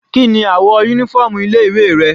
Kíni àwọ̀ uniform ilé ìwé rẹ̀?